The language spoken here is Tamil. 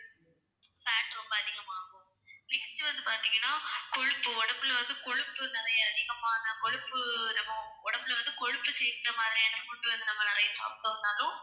fat ரொம்ப அதிகமாகும். next வந்து பாத்தீங்கன்னா கொழுப்பு. உடம்பு லவந்து கொழுப்பு நிறைய அதிகமான கொழுப்பு நம்ம உடம்புல வந்து கொழுப்பு சேத்த மாதிரியான food வந்து நம்ம நிறைய சாப்பிட்டோம்னாலும்